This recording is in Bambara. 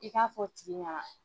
I k'a fɔ o tigi ɲɛna